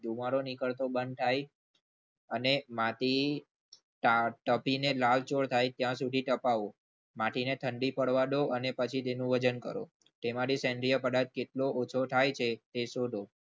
ધુમાડો નીકળતો બંધ થાય અને માટી તાપીને લાલચોળ થાય ત્યાં સુધી તપાવો માટીને ઠંડી પાડો અને પછી તેનું વજન કરો તેમાંથી સેન્દ્રીય પદાર્થ કેટલો ઓછો થાય છે તે શોધો.